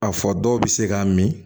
A fɔ dɔw bɛ se k'a min